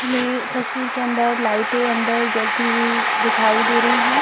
यह तस्वीर के अंदर लाइटें अंदर जलती हुई दिखाई दे रही हैं।